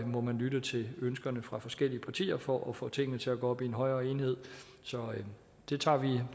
må man lytte til ønskerne fra forskellige partier for at få tingene til at gå op i en højere enhed så det tager